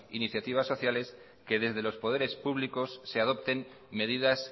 iniciativas sociales que desde los poderes públicos se adopten medidas